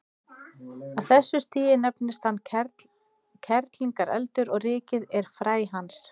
Á þessu stigi nefnist hann kerlingareldur og rykið er fræ hans.